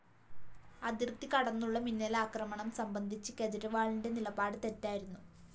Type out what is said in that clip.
അതിര്‍ത്തി കടന്നുള്ള മിന്നലാക്രമണം സംബന്ധിച്ച് കേജ്‌രിവാളിന്റെ നിലപാട് തെറ്റായിരുന്നു